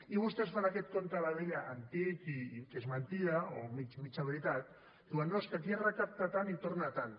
i vostès fan aquest compte de la vella antic i que és mentida o mitja veritat diuen no és que aquí es recapta tant i retorna tant